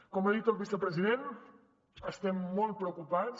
com ha dit el vicepresident estem molt preocupats